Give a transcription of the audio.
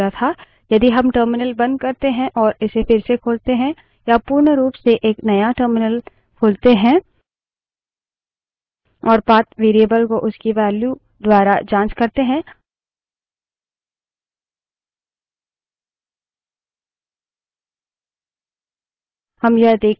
यदि हम terminal बंद करते हैं और इसे फिर से खोलते हैं या पूर्ण रूप से एक नया terminal खोलते हैं और path variable को उसकी value द्वारा की जाँच करते हैं